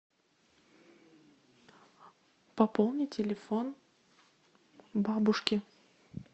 пополни телефон бабушки